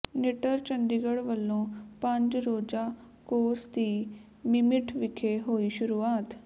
NITTTR Chandigarh ਵੱਲੋਂ ਪੰਜ ਰੋਜ਼ਾ ਕੋਰਸ ਦੀ ਮਿਮਿਟ ਵਿਖੇ ਹੋਈ ਸ਼ੁਰੂਆਤ